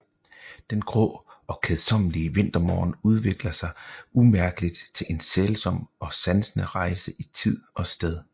Den grå og kedsommelige vintermorgen udvikler sig umærkeligt til en sælsom og sansende rejse i tid og sted